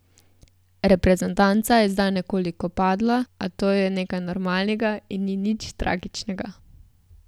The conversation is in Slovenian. Reprezentanca je zdaj nekoliko padla, a to je nekaj normalnega in ni nič tragičnega.